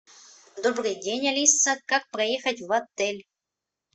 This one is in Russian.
добрый день алиса как проехать в отель